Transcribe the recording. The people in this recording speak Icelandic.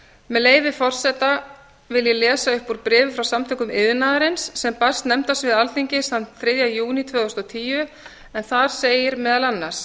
með leyfi forseta vil ég lesa upp úr bréfi frá samtökum iðnaðarins sem barst nefndasviði alþingis þann þriðja júní tvö þúsund og tíu en þar segir meðal annars